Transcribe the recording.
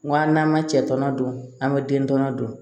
N ko an n'an ma cɛ tɔnɔ don an bɛ den tɔnɔ dun